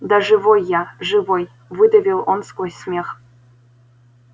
да живой я живой выдавил он сквозь смех